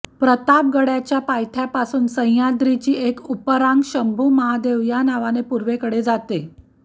प्रतापगडाच्या पायथ्यापासून सहयाद्रीची एक उपरांग शंभूमहादेव या नावाने पूर्वेकडे जाते